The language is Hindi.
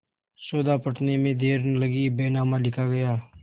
सौदा पटने में देर न लगी बैनामा लिखा गया